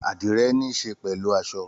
Àdíre nííse pẹlú aso